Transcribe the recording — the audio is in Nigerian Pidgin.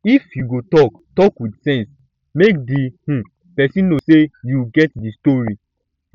if yu go tok tok wit sense mek di um pesin no sey yu um get di tori um